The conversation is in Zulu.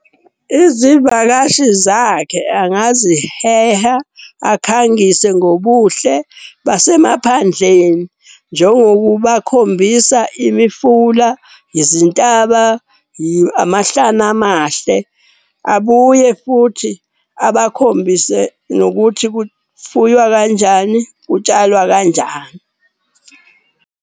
Izivakashi zakhe angaziheha, akhangise ngobuhle basemaphandleni. Njengokubakhombisa imifula, izintaba, amahlane amahle. Abuye futhi abakhombise nokuthi kufuywa kanjani, kutshalwa kanjani.